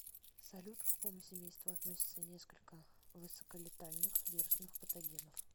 салют к какому семейству относятся несколько высоколетальных вирусных патогенов